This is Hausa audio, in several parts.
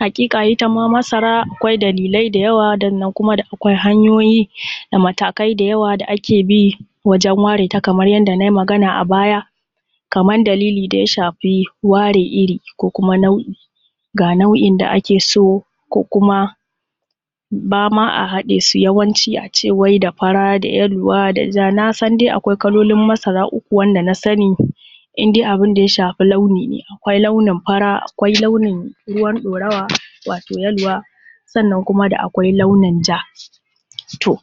Haƙiƙa itama masara akwai dalilai da yawa sannan kuma da akwai hanyoyi da matakai da yawa da ake bi wajen ware ta kamar yanda na yi magana a baya, kamar dalili da ya shafi ware iri ko kuma nau’i ga nau’in da ake so ko kuma ba ma a haɗe su, yawanci a ce wai da fara da yaluwa da ja na san dai akwai kalolin masara uku wanda na sani in dai abin da ya shafi launi ne, akwai launin fara akwai launin ruwan ɗorawa wato yaluwa sannan kuma da akwai launin ja. To,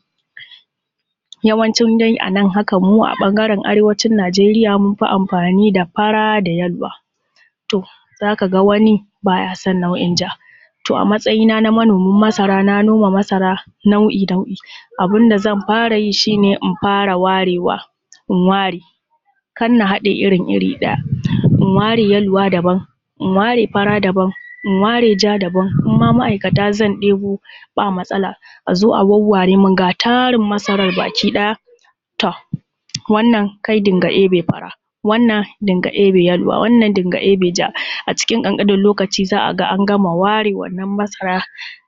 yawancin dai a nan haka mu a ɓangaren arewacin Najeriya mun fi amfani da fara da yaluwa, to za ka ga wani bay a son nau’in ja, to a matsayi na na manomin masara na noma masara nau’i-nau’i. abin da zan fara yi shi ne in fara warewa, in ware, kar na haɗe irin iri ɗaya, in ware yaluwa daban, in ware fara daban, in ware ja daban, in ma ma’aikata zan ɗebo ba matsala, a zo a wawware min ga tarin masaran baki ɗaya. To wannan kai din ga ɗebe fara, wannan kai dinga ɗebe yaluwa, wannan kai dinga ɗebe ja, acikin ƙanƙanin lokaci za a ga an gama ware wannan masara,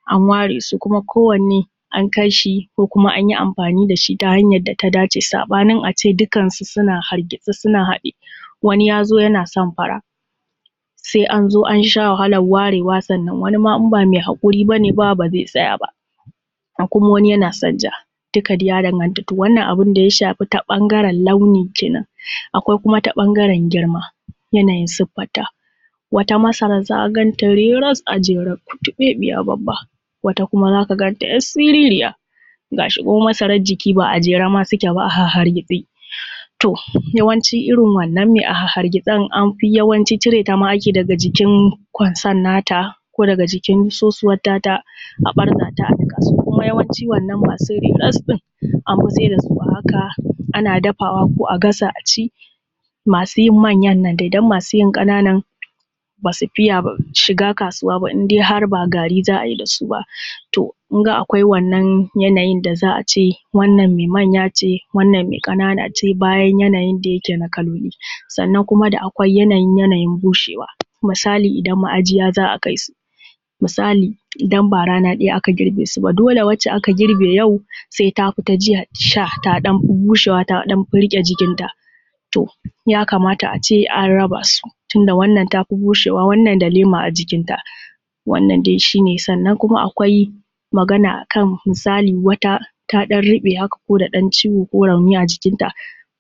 an ware su kuma ko wanne an kai shi ko kuma anyi amfani da shi ta hanyad da ta dace. Saɓanin a ce dukkansu suna hargitse suna haɗe wani ya zo yana so fara Sai anzo an sha wahalan warewa sannan wani ma in ba mai haƙuri bane ba ba zai tsaya ba, akwai wani kuma yana son ja duka dai ya danganta, to wannan abin da ya shafi ta ɓangaren launi kenan. Akwai kuma ta ɓangaren girma, yanayin siffanta wata masaran za a ganta reras a jere kuttuɓeɓiya babba. Wata kuma za ka ganta ‘yar siririya gas hi kuma masarar jiki ba’a jejjere suke ba a hargitse. To yawancin irin wannan mai a hahhargitsen anfi yawanci cire ta ma ake daga jikin kwansan na ta ko daga jikin sosuwan ta ta a ɓarza ta a niƙa. Su kuma yawanci masu reras ɗin anfi sai da su a haka, ana dafawa ko a gasa a ci, masu yin manyan nan dai don masu yin ƙananan basu fiya shiga kasuwa ba indai har ba gari za a yi da su ba. To kun ga akwai wannan yanayin da za a ce wannan mai manya ce wannan mai ƙanana ce bayan yanayin da yake na kaloli. Sannan kuma da akwai yanayin yanayin bushewa, misali idan ma’ajiya za a kaisu, misali idan ba rana ɗaya aka girbe sub a, dole wacce aka girbe yau sai tafi ta jiya sha ta ɗan fi bushewa, ta ɗan fi riƙe jikinta, to ya kamata a ce an raba su, tunda wannan tafi bushewa wannan da lema a jikinta, wannan dai shi ne. Sannan kuma akwai magana akan misali wata ta ɗan ruɓe haka ko da ɗan ciwo ko rauni haka a jikinta,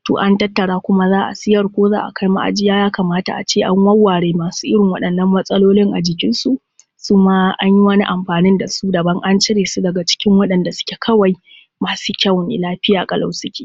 to an tattara kuma za a siyar ko za akai ma’ajiya, ya kamata a ce an wawware masu irin waɗannan matsalolin a jikinsu su ma anyi wani amfanin da su daban, an cire su daga cikin wanɗanda suke kawai masu kyau ne lafiya ƙalau suke.